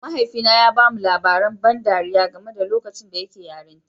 Mahaifina ya ba mu labaran ban ɗariya game da lokacin da yake yarinta